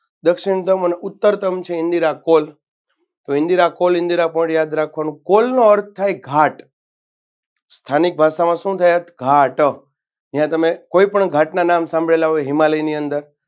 દક્ષિણતમ અને ઉત્તરતમ છે ઇન્દિરા call હવે ઇન્દિરા call ઇન્દિરા point પણ યાદ રાખવાનું call નો અર્થ થાય ઘાટ સ્થાનિક ભાષામાં શું થાય અર્થ ઘાટ અહિયાં તમે કોઈપણ ઘાટના નામ સાંભળેલા હોય હિમાલયની અંદર